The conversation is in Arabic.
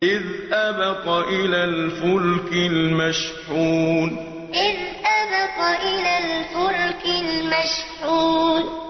إِذْ أَبَقَ إِلَى الْفُلْكِ الْمَشْحُونِ إِذْ أَبَقَ إِلَى الْفُلْكِ الْمَشْحُونِ